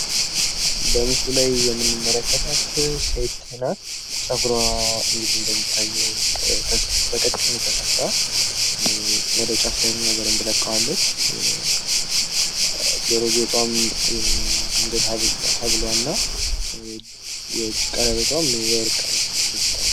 በምስሉ ላይ የምንመለከታት ሴት ናት። ፀጉሯን እንግዲህ እንደሚታየዉ በቀጭኑ ተሰርታ ወደ ጫፍ ደግሞ በደንብ ለቃዋለች። የጆሮ ጌጧ ፣ የአንገት ሀብሏ እና የእጅ ቀለበቷ የወርቅ እንዲታይ፤